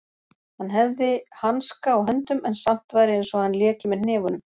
Hann hefði hanska á höndum en samt væri einsog hann léki með hnefunum.